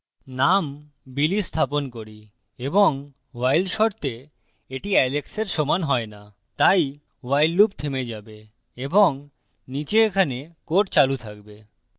name billy স্থাপন করি এবং while শর্তে the alex সমান হয় the তাই while loop থেমে যাবে এবং নীচে এখানে code চালু থাকবে